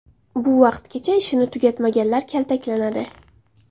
Bu vaqtgacha ishini tugatmaganlar kaltaklanadi.